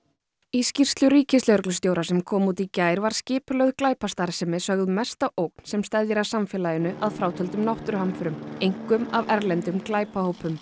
í skýrslu ríkislögreglustjóra sem kom út í gær var skipulögð glæpastarfsemi sögð mesta ógn sem steðjar að samfélaginu að frátöldum náttúruhamförum einkum af erlendum glæpahópum